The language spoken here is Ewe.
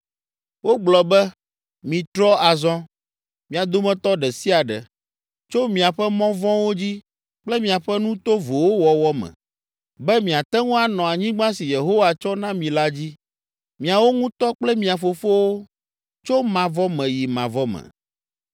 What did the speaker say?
Wogblɔ be, “Mitrɔ azɔ, mia dometɔ ɖe sia ɖe, tso miaƒe mɔ vɔ̃wo dzi kple miaƒe nu tovowo wɔwɔ me, be miate ŋu anɔ anyigba si Yehowa tsɔ na mi la dzi, miawo ŋutɔ kple mia fofowo, tso mavɔ me yi mavɔ me.